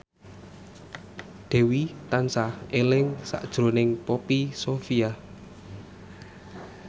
Dewi tansah eling sakjroning Poppy Sovia